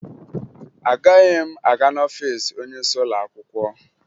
Agaghị m aga n'ọfiisi onyeisi ụlọakwụkwọ